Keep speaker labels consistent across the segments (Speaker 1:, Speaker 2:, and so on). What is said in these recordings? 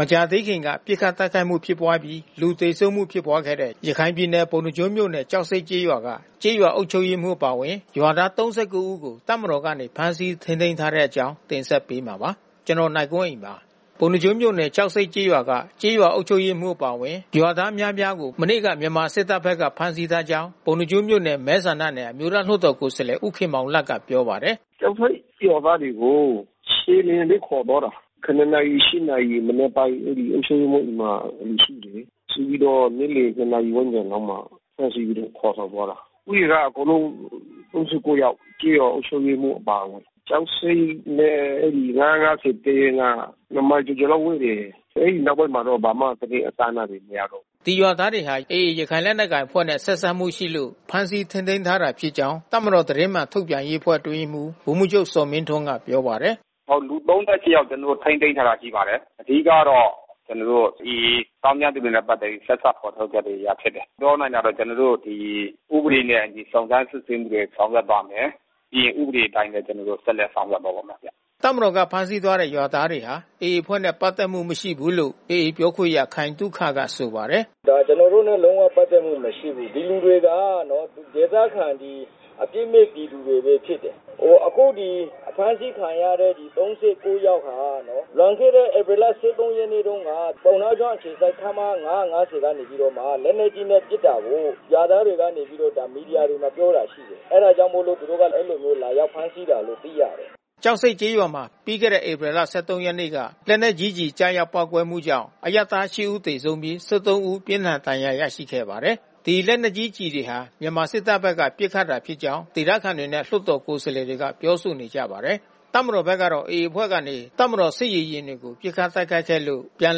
Speaker 1: မကြာသေးခင်က ပစ်ခတ်တိုက်ခိုက်မှု ဖြစ်ပွါးပြီး လူသေဆုံးမှု ဖြစ်ပွားခဲ့တဲ့ ရခိုင်ပြည်နယ်၊ ပုဏ္ဏားကျွန်းမြို့နယ်၊ ကျောက်ဆိပ်ကျေးရွာက ကျေးရွာအုပ်ချုပ်ရေးမှူးအပါအဝင် ရွာသား ၃၉ ဦးကို တပ်မတော်ကနေ ဖမ်းဆီးထိန်းသိမ်းထားတဲ့ အကြောင်းကို ဗွီအိုအေမြန်မာပိုင်း သတင်းထောက် ကိုနိုင်ကွန်းအိန်က တင်ဆက်ပေးမှာပါ။ ပုဏ္ဏားကျွန်းမြို့နယ်၊ ကျောက်ဆိပ်ကျေးရွာက ကျေးရွာအုပ်ချုပ်ရေးမှူးအပါအဝင် ရွာသားအများအပြားကို မနေ့က မြန်မာစစ်တပ်ဘက်က ဖမ်းဆီးထားကြောင်း ပုဏ္ဏားကျွန်းမြို့နယ်မဲဆန္ဒနယ် အမျိုးသားလွှတ်တော်ကိုယ်စားလှယ် ဦးခင်မောင်လတ်ကပြောပါတယ်။ “
Speaker 2: ကျောက်ဆိပ်ရွာသားတွေကို ခြေလျင်နဲ့ ခေါ်သွားတာ။ ၇ နာရီ ၈ နာရီ မနက်ပိုင်း အဲဒီအုပ်ချုပ်ရေးမှူးအိမ်မှာ လူစုတယ်။ စုပြီးတော့နေ့လယ် ၂ နာရီဝန်းကျင်လောက်မှာ တန်းစီပြီးတော့ ခေါ်ဆောင်သွားတာ။ ဦးရေကအကုန်လုံး ၃၉ ယောက်။ ကျေးရွာအုပ်ချုပ်ရေးမှူးအပါအဝင်။ ကျောက်ဆိပ်နဲ့ ၅၅၀ တပ်ရင်းက နှစ်မိုင်ကျော်ကျော်လောက်ဝေးတယ်။ အဲဒီနောက်ပိုင်းမှာတော့ ဘာမှသတင်းအစအနတွေ မရတော့
Speaker 1: ဘူး။” ဒီရွာသားတွေဟာ AA ရခိုင်လက်နက်ကိုင်အဖွဲ့နဲ့ဆက်စပ်မှုရှိလို့ ဖမ်းဆီးထိန်းသိမ်းထားတာဖြစ်ကြောင်း တပ်မတော် သတင်းမှန်ထုတ်ပြန်ရေးအဖွဲ့အတွင်းရေးမှူး ဗိုလ်မှူးချုပ်ဇော်မင်းထွန်းကပြောပါတယ်။
Speaker 2: “ဟုတ်။ လူ ၃၈ ယောက် ကျနော်တို့ ထိန်းသိမ်းထားတာ ရှိပါတယ်။ အဓိကကတော့ ကျနော်တို့ AA သောင်းကျန်းသူတွေနဲ့ ပတ်သက်ပြီးတော့ ဆက်စပ်ဖေါ်ထုတ်ခဲ့လို့အရဖြစ်တယ်။ ပြောနိုင်တာက ကျနော်တို့ ဒီ ဥပဒေနဲ့အညီ စုံစမ်းစစ်ဆေးမှုတွေ ဆောင်ရွက်ပါ့မယ်။ ပြီးရင်ဥပဒေအတိုင်းပဲ ကျနော်တို့ ဆက်လက်ဆောင်ရွက်သွားပါ့မယ်ဗျ။
Speaker 1: ” တပ်မတော်က ဖမ်းဆီးသွားတဲ့ ရွာသားတွေဟာ AA အဖွဲ့နဲ့ ပတ်သက်မှု မရှိဘူးလို့ AA ပြောခွင့်ရခိုင်သုခက ဆိုပါတယ်
Speaker 2: ။ “ကျနော်တို့နဲ့ လုံးဝပတ်သက်မှု မရှိဘူး။ ဒီလူတွေက ဒေသခံအပစ်မဲ့ပြည်သူတွေပဲ ဖြစ်တယ်။ အခုဒီဖမ်းဆီးခံရတဲ့ ၃၉ ယောက်ဟာ လွန်ခဲ့တဲ့ဧပြီလ ၁၃ ရက်နေ့တုန်းက ပုဏ္ဏားကျွန်းအခြေစိုက် ခမရ ၅၅၀ ကနေပြီးတော့မှ လက်နက်ကြီးနဲ့ ပစ်တာကို ရွာသားတွေကနေပြီးတော့မှ မီဒီယာတွေကိုပြောတာ ရှိတယ်။ အဲတာကြောင့်မို့လို့သူတို့က အဲဒီလိုလာရောက်ဖမ်းဆီးတယ်လို့ သိရတယ်
Speaker 1: ။” ကျောက်ဆိပ်ကျေးရွာမှာ ပြီးခဲ့တဲ့ ဧပြီလ ၁၃ ရက်နေ့က လက်နက်ကြီးကျည် ကျရောက်ပေါက်ကွဲမှုကြောင့် အရပ်သား ၈ ဦး သေဆုံးပြီး ၁၃ ဦး ပြင်းထန်ဒဏ်ရာရခဲ့ပါတယ်။ ဒီလက်နက်ကြီးကျည်တွေဟာ မြန်မာစစ်တပ်ဘက်က ပစ်ခတ်တာဖြစ်ကြောင်း ဒေသခံတွေနဲ့ လွှတ်တော်ကိုယ်စားလှယ်တွေက ပြောဆိုနေကြပါတယ်။ တပ်မတော်ဘက်ကတော့ AA အဖွဲ့ကနေ တပ်မတော်စစ်ရေယာဉ်တွေကို ပစ်ခတ်တိုက်ခိုက်ခဲ့လို့ ပြန်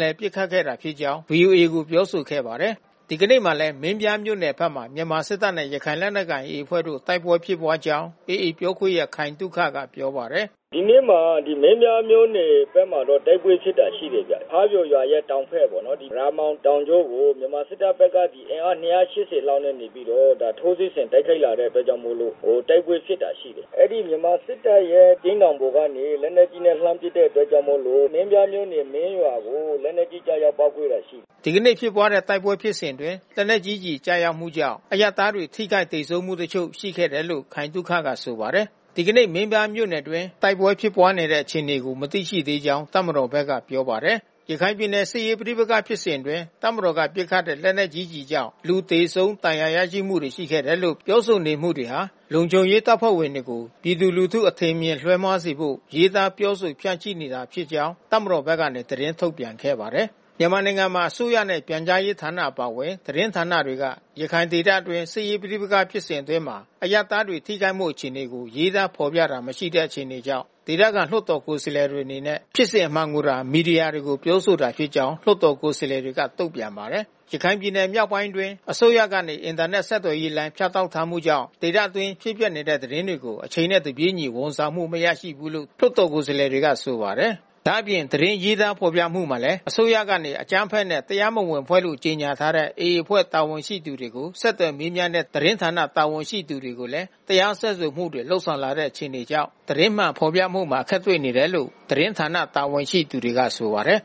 Speaker 1: လည်ပစ်ခတ်ခဲ့ဖြစ်ကြောင်း ဗွီအိုအေကိုပြောဆိုခဲ့ပါတယ်။ ဒီကနေ့မှာလည်း မင်းပြားမြို့နယ်ဖက်မှာ မြန်မာစစ်တပ်နဲ့ ရခိုင်လက်နက်ကိုင် AA အဖွဲ့တို့ တိုက်ပွဲဖြစ်ပွါးကြောင်း AA ပြောခွင့်ရခိုင်သုခကပြောပါတယ်။
Speaker 2: “ဒီနေ့မှာ မင်းပြားမြို့နယ်ဘက်မှာ တိုက်ပွဲဖြစ်တာ ရှိတယ်ဗျ။ ဖါးပျော်ရွာရဲ့တောင်ဘက်ပေါ့နော် ရာမောင်တောင်ကြောကို မြန်မာစစ်တပ်ဘက်က အင်အား ၂၈၀ လောက်နဲ့ ထိုးစစ်ဆင်တိုက်ခိုက်လာတဲ့အတွက်ကြောင့်မို့လို့ တိုက်ပွဲဖြစ်တာ ရှိတယ်။ မြန်မာစစ်တပ်ရဲ့ကျိန်းတောင်ပေါ်ကနေ လက်နက်ကြီးနဲ့ လှမ်းပစ်တဲ့အတွက်ကြောင့်မို့လို့ မင်းပြားမြို့နယ် မင်းရွာကိုလက်နက်ကြီး ကျရောက်ပေါက်ကွဲတာ ရှိတယ်
Speaker 1: ။” ဒီကနေ့ ဖြစ်ပွါးတဲ့တိုက်ပွဲဖြစ်စဉ်အတွင်း လက်နက်ကြီးကျရောက်မှုကြောင့် အရပ်သားတွေ ထိခိုက်သေဆုံးမှုတချို့ ရှိခဲ့တယ်လို့ ခိုင်သုခက ဆိုပါတယ်။ ဒီနေ့ မင်းပြားမြို့နယ်အတွင်း တိုက်ပွဲဖြစ်ပွါးတဲ့အခြေအနေကို မသိရှိသေးကြောင်း တပ်မတော်ဘက်ကပြောပါတယ်။ ရခိုင်ပြည်နယ် စစ်ရေးပဋိပက္ခဖြစ်စဉ်အတွင်း တပ်မတော်က ပစ်ခတ်တဲ့ လက်နက်ကြီးကျည်ကြောင့် လူသေဆုံးဒဏ်ရာ ရရှိမှုတွေရှိခဲ့တယ်လို့ ပြောဆိုနေမှုတွေဟာ လုံခြုံရေးတပ်ဖွဲ့ဝင်တွေကို ပြည်သူလူထုအထင်အမြင်လွဲမှားစေဖို့ ရေးသားပြောဆို ဖြန့်ချိနေခြင်းသာဖြစ်ကြောင်း တပ်မတော်ကနေ သတင်းထုတ်ပြန်ခဲ့ပါတယ်။ မြန်မာနိုင်ငံမှာ အစိုးရရဲ့ ပြန်ကြားရေးဌာနအပါဝင် သတင်းဌာနတွေက ရခိုင်ဒေသအတွင်း စစ်ရေးပဋိပက္ခဖြစ်စဉ်အတွင်း အရပ်သားတွေ ထိခိုက်မှု အခြေအနေတွေကို ရေးသားဖေါ်ပြတာမရှိတဲ့ အခြေအနေကြောင့် ဒေသခံ လွှတ်တော်ကိုယ်စားလှယ်တွေအနေနဲ့ ဖြစ်စဉ်အမှန်တွေကိုသာ မီဒီယာတွေကိုပြောဆိုတာဖြစ်ကြောင်း လွှတ်တော် ကိုယ်စားလှယ်တွေကတုံ့ပြန်ပါတယ်။ ရခိုင်ပြည်နယ်မြောက်ပိုင်းအတွင်း အစိုးရကနေ အင်တာနက်ဆက်သွယ်ရေး လိုင်းဖြတ်တောက်ထားမှုကြောင့် ဒေသ အတွင်းဖြစ်ပျက်နေတဲ့ သတင်းတွေကို အချိန်နဲ့ တပြေးညီ ဝန်ဆောင်မှု မရရှိဘူးလို့သူကဆိုပါတယ်။ ဒါ့အပြင် သတင်းရေးသားဖေါ်ပြမှုမှာလည်း အစိုးရက အကြမ်းဖက်နဲ့တရားမဝင်အဖွဲ့လို့ကြေညာထားတဲ့ AA အဖွဲ့ တာဝန်ရှိသူတွေကို ဆက်သွယ်မေးမြန်းတဲ့ သတင်းဌာန တာဝန်ရှိသူတွေကိုလဲ တရားစွဲဆိုမှုတွေ လုပ်ဆောင်လာတဲ့ အခြေအနေကြောင့် သတင်းမှန်ဖေါ်ပြဖို့မှာ အခက်တွေ့နေတယ်လို့သတင်းဌာနတာဝန်ရှိသူတွေက ဆိုပါတယ်